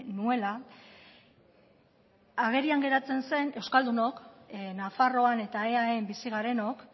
nuela agerian geratzen zen euskaldunok nafarroan eta eaen bizi garenok